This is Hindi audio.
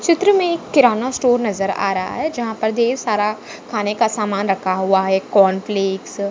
चित्र मे एक किराना स्टोर आ रहा है जहा पर ढेर सारा खाने का समान रखा हुआ है कॉर्नफ़्लेक्स --